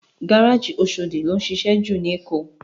Gáráji Óṣódi ló nšišẹ jú ni Ékó